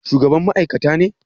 shugaban ma'aikata ne